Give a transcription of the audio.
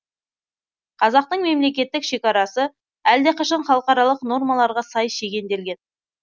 қазақтың мемлекеттік шекарасы әлдеқашан халықаралық нормаларға сай шегенделген